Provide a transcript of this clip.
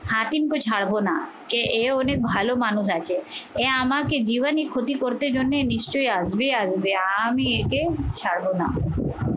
হাকিমকে ছাড়বো না এ অনেক ভালো মানুষ আছে। এ আমাকে জীবাণী ক্ষতি করতে জন্যে নিশ্চয়ই আসবে আসবে আমি একে ছাড়বো না